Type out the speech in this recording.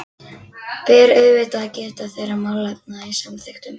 Ber auðvitað að geta þeirra málefna í samþykktunum.